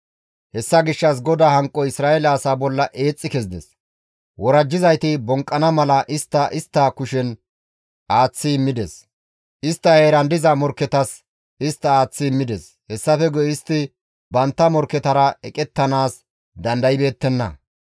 Hessa gishshas GODAA hanqoy Isra7eele asaa bolla eexxi kezides; worajjizayti bonqqana mala istta morkketa kushen aaththi immides; istta heeran diza morkketas istta aaththi immides; hessafe guye istti bantta morkketara eqettanaas dandaybeettenna.